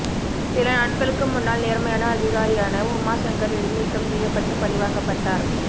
சில நாட்களுக்கு முன்னால் நேர்மையான அதிகாரியான உமா சங்கர் இடைநீக்கம் செய்யப்பட்டுப் பழிவாங்கப்பட்டார்